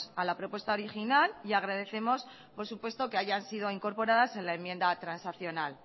a la propuesta original y agradecemos por supuesto que hayan sido incorporadas en la enmienda transaccional